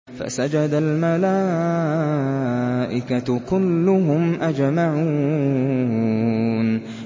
فَسَجَدَ الْمَلَائِكَةُ كُلُّهُمْ أَجْمَعُونَ